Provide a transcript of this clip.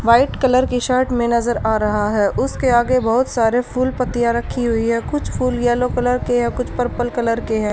White colour की shirt में नजर आ रहा है उसके आगे बहुत सारे फूल पत्तियां रखी हुई है कुछ फूल येलो कलर के है कुछ पर्पल कलर के है।